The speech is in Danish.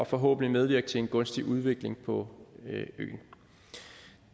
forhåbentlig medvirke til en gunstig udvikling på øen